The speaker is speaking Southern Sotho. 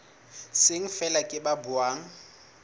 seng feela ke ba buang